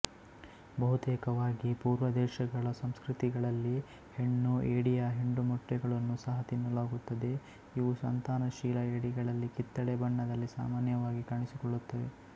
ಬಹುತೇಕವಾಗಿ ಪೂರ್ವದೇಶಗಳ ಸಂಸ್ಕೃತಿಗಳಲ್ಲಿ ಹೆಣ್ಣು ಏಡಿಯ ಹಿಂಡುಮೊಟ್ಟೆಗಳನ್ನೂ ಸಹ ತಿನ್ನಲಾಗುತ್ತದೆ ಇವು ಸಂತಾನಶೀಲ ಏಡಿಗಳಲ್ಲಿ ಕಿತ್ತಳೆ ಬಣ್ಣದಲ್ಲಿ ಸಾಮಾನ್ಯವಾಗಿ ಕಾಣಿಸಿಕೊಳ್ಳುತ್ತವೆ